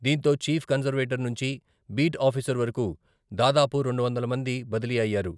దీంతో chief conservator నుంచి beat officer వరకు దాదాపు రెండు వందల మంది బదిలీ అయ్యారు.